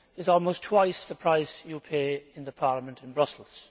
almost twice the price you pay in the Parliament in Brussels?